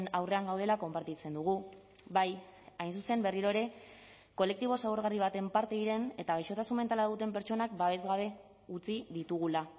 aurrean gaudela konpartitzen dugu bai hain zuzen berriro ere kolektibo zaurgarri baten parte diren eta gaixotasun mentala duten pertsonak babes gabe utzi ditugula